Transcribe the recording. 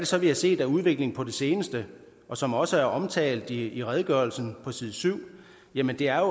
så vi har set af udvikling på det seneste og som også er omtalt i redegørelsen på side 7 jamen det er